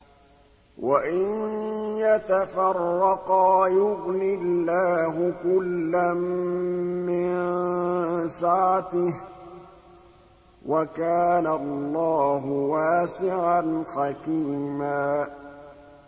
وَإِن يَتَفَرَّقَا يُغْنِ اللَّهُ كُلًّا مِّن سَعَتِهِ ۚ وَكَانَ اللَّهُ وَاسِعًا حَكِيمًا